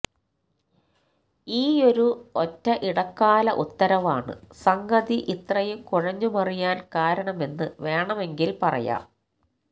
ഈയൊരു ഒറ്റ ഇടക്കാല ഉത്തരവാണ് സംഗതി ഇത്രയും കുഴഞ്ഞുമറിയാൻ കാരണമെന്ന് വേണമെങ്കിൽ പറയാം